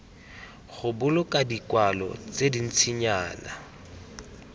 go boloka dikwalo tse dintsinyana